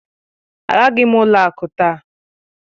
Agaghị m ụlọ akụ taa